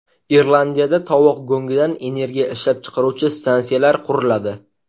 Irlandiyada tovuq go‘ngidan energiya ishlab chiqaruvchi stansiyalar quriladi.